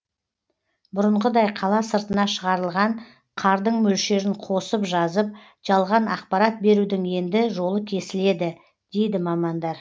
бұрынғыдай қала сыртына шығарылған қардың мөлшерін қосып жазып жалған ақпарат берудің енді жолы кесіледі дейді мамандар